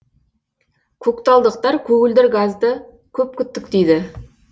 көкталдықтар көгілдір газды көп күттік дейді